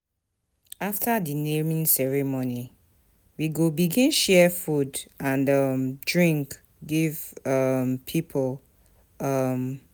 After di naming ceremony, we go begin share food and um drink give um pipo. um